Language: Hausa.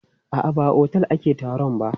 A'a, ba a otel ake taron ba.